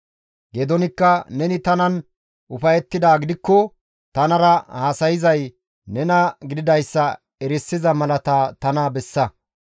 Geedoonikka «Neni tanan ufayettidaa gidikko tanara haasayzay nena gididayssa erisiza malata tana bessa.